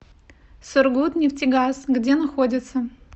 сургутнефтегаз где находится